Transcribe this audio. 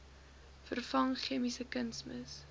vervang chemiese kunsmis